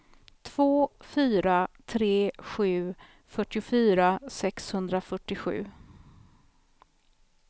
två fyra tre sju fyrtiofyra sexhundrafyrtiosju